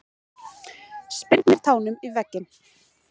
Spyrnir tánum í veggina.